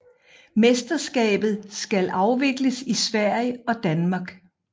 Mesterskabet skal afvikles i Sverige og Danmark